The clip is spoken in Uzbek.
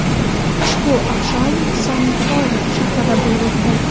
Ushbu oqshom San-Paulu shahrida bo‘lib o‘tdi.